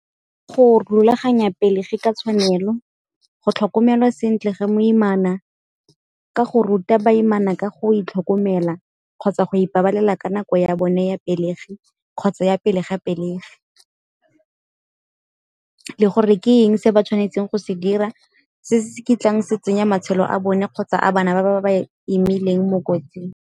Go rulaganya pelegi ke tshwanelo, go tlhokomelwa sentle ge moimana, ka go ruta baimana ka go itlhokomela kgotsa go ipabalela ka nako ya bone ya pelegi kgotsa ya pele ga pelegi. Le gore ke eng se ba tshwanetseng go se dira se se ke tlang se tsenya matshelo a bone kgotsa a bana ba ba imileng mo kotsing.